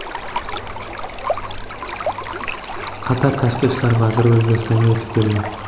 Qatar Tashqi ishlar vaziri O‘zbekistonga yetib keldi.